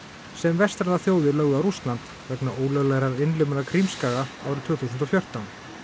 sem vestrænar þjóðir lögðu á Rússland vegna ólöglegrar innlimunar Krímskaga árið tvö þúsund og fjórtán